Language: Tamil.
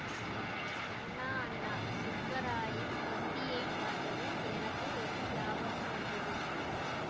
அண்ணா அண்ணா சுப்பராயன் தொந்தியைப் பார்த்ததும் எனக்கு ஒன்று ஞாபகம் வந்தது